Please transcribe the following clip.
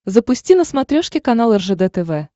запусти на смотрешке канал ржд тв